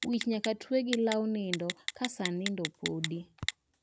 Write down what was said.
Wich nyaka twe gi law nindo ka saa nindo podi